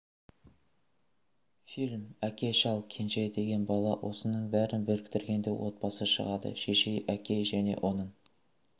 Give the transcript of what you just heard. фильм әке шал кенже деген бала осының бәрін біріктіргенде отбасы шығады шешей әкей және оның